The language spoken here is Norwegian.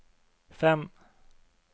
fem